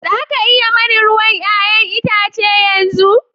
Za a iya yi mani ruwan 'ya'yan itace yanzu?